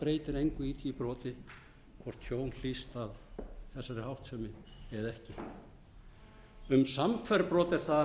breytir engu í því broti hvort tjón hlýst af þessari háttsemi eða ekki um samhverf brot er það að